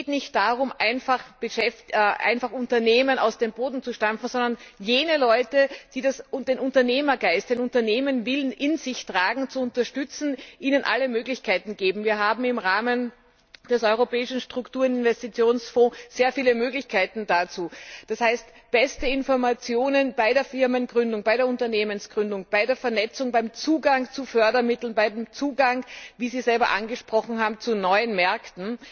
Es geht nicht darum, einfach Unternehmen aus dem Boden zu stampfen, sondern jene Leute, die den Unternehmergeist, den Unternehmerwillen in sich tragen, zu unterstützen, ihnen alle Möglichkeiten zu geben. Wir haben im Rahmen des Europäischen Struktur und Investitionsfonds sehr viele Möglichkeiten dazu, d. h. beste Informationen bei der Firmengründung, bei der Unternehmensgründung, bei der Vernetzung, beim Zugang zu Fördermitteln, beim Zugang wie Sie selber angesprochen haben zu neuen Märkten.